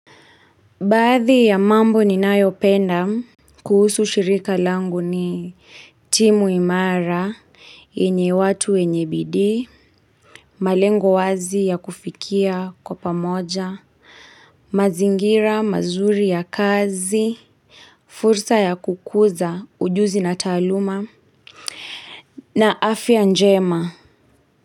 Baadhi ya mambo ni nayopenda kuhusu shirika langu ni timu imara, yenye watu wenye bidii, malengo wazi ya kufikia kwa pamoja, mazingira mazuri ya kazi, fursa ya kukuza ujuzi na taaluma, na afya njema.